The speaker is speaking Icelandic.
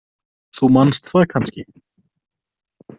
Þú manst það kannski?